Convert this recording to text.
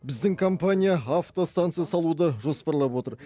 біздің компания автостанция салуды жоспарлап отыр